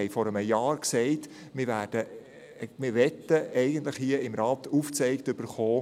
Wir haben vor einem Jahr gesagt, wir möchten hier im Rat aufgezeigt erhalten: